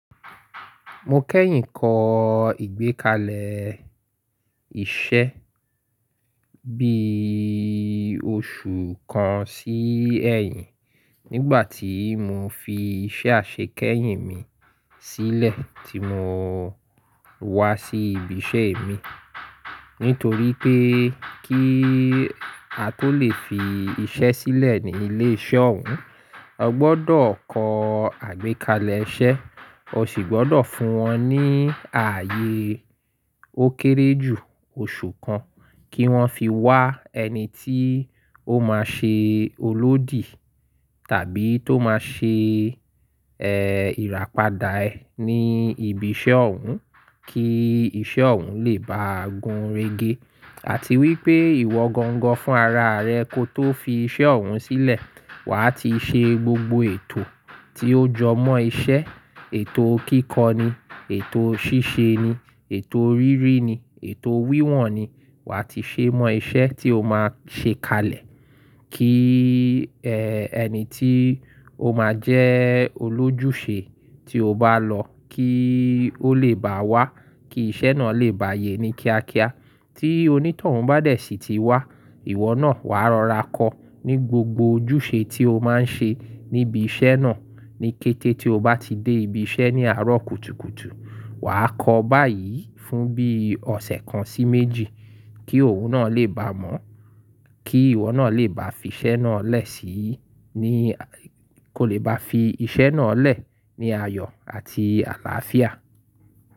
Mo kẹ́yìn kọ ìgbékalẹ̀ iṣẹ́ bí oṣù kan sí ẹ̀yìn nígbà tí mo fi iṣẹ́ àṣekẹ́yìn mi sílẹ̀ tí mo wá sí ibi iṣẹ́ mi. Nítorí pé kí a tó lè fi iṣẹ́ sílẹ̀ ní ilé iṣẹ́ ọ̀hún, o gbọ́dọ̀ kọ àgbékalẹ̀ iṣẹ́, o sì gbọ́dọ̀ fún wọn ní ààyè ó kéré jù oṣù kan kí wọ́n fi wá ẹni tí ó máa ṣe olódi tàbí tó máa ṣe, ẹ́, ìràpadà ẹ ní ibi iṣẹ́ ọ̀hún kí iṣẹ́ ọ̀hún lè báà gún régé. Àti wí pé ìwọ gangan fún ara rẹ ko tó fi iṣẹ́ ọ̀hún sílẹ̀, wàá ti ṣe gbogbo ètò tí ó jọ mọ́ iṣẹ́, ètò kíkọ ni, ètò ṣíṣe ni, ètò rírí ni, ètò wíwọ̀n ni, wà á ti ṣe mọ iṣẹ́ tí o máa ṣe kalẹ̀ kí, ẹ́, ẹni tí ó máa jẹ́ olójúṣe tí o bá lọ kí ó lè bá wá, kí iṣẹ́ náà lè bààyè ní kíákíá. Tí onítọ̀hún bá dẹ̀ sí ti wá, ìwọ náà wà á rọra kọ ní gbogbo ojúṣe tí o máa ń ṣe níbi iṣẹ́ náà ní kété tí o bá ti dé ibi iṣẹ́ ní àárọ̀ kùtùkùtù. Wà á kọ báyìí fún bí ọ̀sẹ̀ kan sí méjì kí òun náà lè bá mọ̀, kí ìwọ náà lè bá fi iṣẹ́ náà lẹ̀ sí í ní, kó lè bá fi iṣẹ́ náà lẹ̀ ní ayọ̀ àti àlàáfíà.